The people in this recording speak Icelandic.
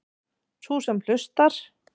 Sú sem hlustar.